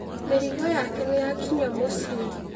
Mĩrigo yake nĩyakinya mũciĩ.